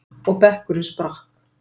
Og bekkurinn sprakk.